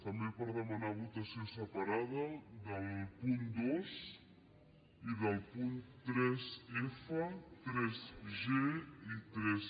també per demanar votació separada del punt dos i dels punts tres